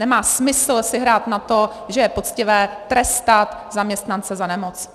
Nemá smysl si hrát na to, že je poctivé trestat zaměstnance za nemoc.